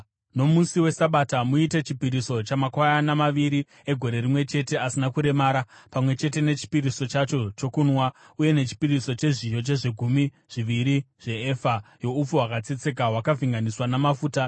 “ ‘Nomusi weSabata, muite chipiriso chamakwayana maviri egore rimwe chete asina kuremara, pamwe chete nechipiriso chacho chokunwa, uye nechipiriso chezviyo chezvegumi zviviri zveefa youpfu hwakatsetseka, hwakavhenganiswa namafuta.